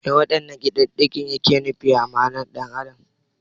Me waɗannan kididdigar ke nufi a ma'anar ɗan adam?